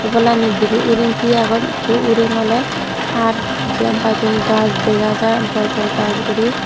obolandi dibi uring tiye agon ekku uring ole har jian pai don dega jai bor bor gaj guri.